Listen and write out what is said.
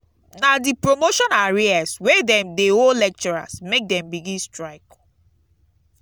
na di promotion arrears wey dem dey owe lecturers make dem begin strike.